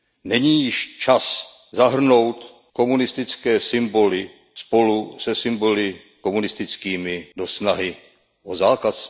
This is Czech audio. Není již čas zahrnout komunistické symboly spolu se symboly nacistickými do snahy o zákaz?